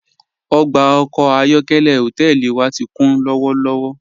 Ogba ọkọ ayọ̀kẹ̀lẹ̀ hotẹẹli wa ti kun lọwọlọwọ.